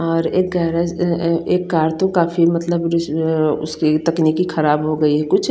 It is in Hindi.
और एक गरज अ अः एक कार तो काफी मतलब रिज मतलब उसकी तक्नीकी खराब हो गयी है कुछ।